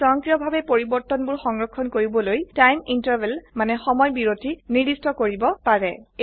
আপোনি সয়ংক্ৰিয়ভাবে পৰিবৰ্তনবোৰ সংৰক্ষণ কৰিবলৈ টাইম ইণ্টাৰভেল মানে সময় বিৰতি নিৰ্দিষ্ট কৰিব পাৰে